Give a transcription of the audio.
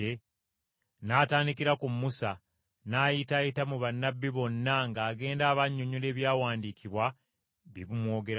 N’atandikira ku Musa n’ayitaayita mu bannabbi bonna ng’agenda abannyonnyola Ebyawandiikibwa bye bimwogerako.